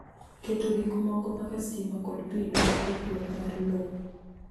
Keto gik moko kaka stima kod pi dwaro ndikruok mar lowo .